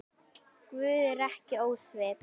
Guð er ekki ósvip